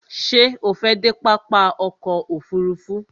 Ṣé o fẹ́ dé pápá ọkò òfurufú?